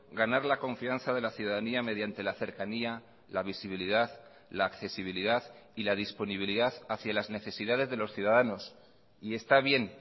ganar la confianza de la ciudadanía mediante la cercanía la visibilidad la accesibilidad y la disponibilidad hacia las necesidades de los ciudadanos y está bien